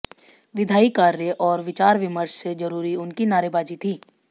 विधायी कार्य और विचार विमर्श से जरूरी उनकी नारेबाजी थी